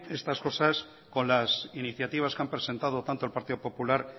estas cosas con las iniciativas que han presentado tanto el partido popular